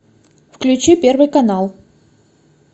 включи первый канал